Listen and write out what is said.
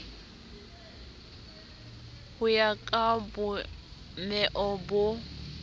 ho ya ka bomeo bo